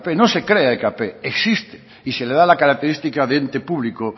no se crea ekp existe y se le da la característica de ente público